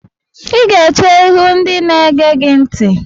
Ị ga-eche ihu ndị na-ege go ntị!